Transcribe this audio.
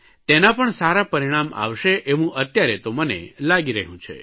તેનાં પણ સારાં પરિણામ આવશે એવું અત્યારે તો મને લાગી રહ્યું છે